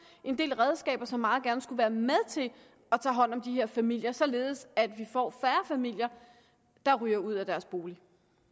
en del redskaber som meget gerne skulle være med til at tage hånd om de her familier således at vi får færre familier der ryger ud af deres bolig